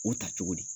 U ta cogo di